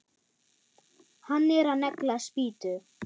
Hann er að negla spýtu.